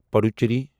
Puducherry